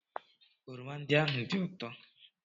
oroma ndị ahụ dị ụtọ?